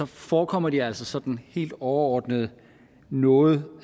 forekommer de altså sådan helt overordnet noget